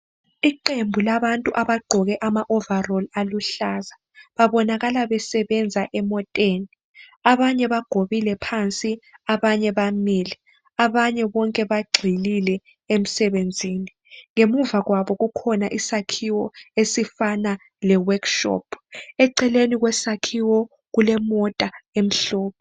Iqembu labantu abagqoke amawovolosi aluhlaza babonakala besebenza emoteni abanye bagobile phansi abanye bamile abanye bonke bagxilile emsebenzini ngemuva kwabo kukhona isakhiwo esifana le workshop eceleni kwesakhiwo kulemota emhlophe.